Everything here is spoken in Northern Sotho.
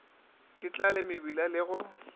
ke tlale mebila le go